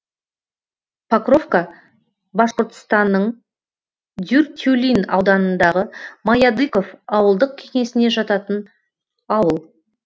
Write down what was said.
покровка башқұртстанның дюртюлин ауданындағы маядыков ауылдық кеңесіне жататын ауыл